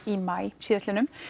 í maí síðastliðnum